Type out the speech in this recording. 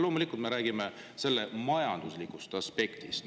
Loomulikult me räägime selle majanduslikust aspektist.